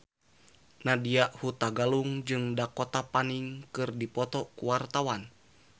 Nadya Hutagalung jeung Dakota Fanning keur dipoto ku wartawan